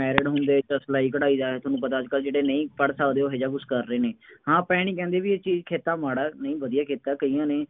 married ਹੁੰਦੇ, ਤਾਂ ਸਿਲਾਈ ਕਢਾਈ ਦਾ ਇਹ ਤੁਹਾਨੂੰ ਪਤਾ ਅੱਜ ਕੱਲ੍ਹ ਜਿਹੜੇ ਨਹੀਂ ਪੜ੍ਹ ਸਕਦੇ ਉਹ ਇਹੋ ਜਿਹਾ ਕੁੱਛ ਕਰ ਰਹੇ ਨੇ, ਹਾਂ ਆਪਾਂ ਇਹ ਨਹੀਂ ਕਹਿੰਦੇ ਬਈ ਇਹ ਚੀਜ਼ ਕਿੱਤਾ ਮਾੜਾ ਹੈ, ਨਹੀਂ ਵਧੀਆਂ ਕਿੱਤਾ, ਕਈਆਂ ਨੇ